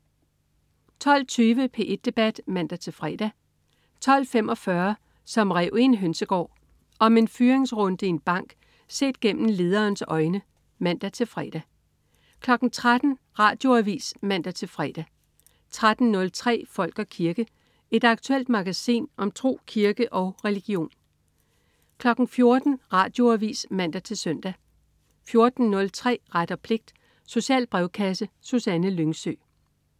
12.20 P1 debat (man-fre) 12.45 Som en ræv i en hønsegård. Om en fyringsrunde i en bank set gennem lederens øjne (man-fre) 13.00 Radioavis (man-fre) 13.03 Folk og kirke. Et aktuelt magasin om tro, kirke og religion 14.00 Radioavis (man-søn) 14.03 Ret og pligt. Social brevkasse. Susanne Lyngsø